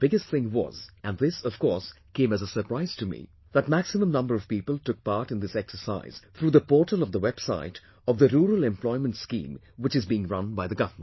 And the biggest thing was... and this, of course, came as a surprise to me... that maximum number of people took part in this exercise through the portal of the website of the Rural Employment Scheme which is being run by the government